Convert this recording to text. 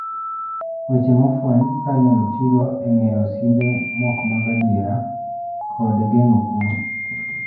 Weche mofweny ka inyalo tigo e ng'eyo simbe mok mag adiera kod ngeng'o kwo.